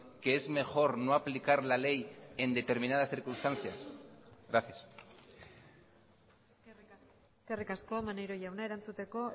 que es mejor no aplicar la ley en determinadas circunstancias gracias eskerrik asko maneiro jauna erantzuteko